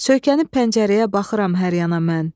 Söykənib pəncərəyə baxıram hər yana mən.